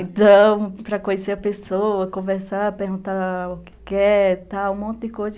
Então, para conhecer a pessoa, conversar, perguntar o que quer, tal, um monte de coisa.